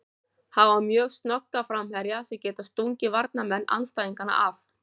Hafa mjög snögga framherja sem geta stungið varnarmenn andstæðinganna af.